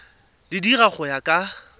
di dira go ya ka